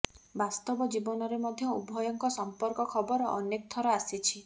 ବାସ୍ତବ ଜୀବନରେ ମଧ୍ୟ ଉଭୟଙ୍କ ସମ୍ପର୍କ ଖବର ଅନେକ ଥର ଆସିଛି